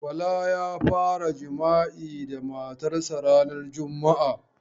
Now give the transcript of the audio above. Bala ya fara jima'i da matar sa ranan juma.